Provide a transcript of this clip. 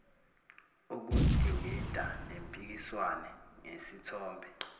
ukudingida nempikiswano ngesithombe